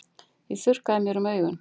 Ég þurrkaði mér um augun.